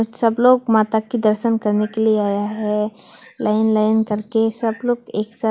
सब लोग माता के दर्शन करने के लिए आया है लाइन लाइन करके सब लोग एक साथ--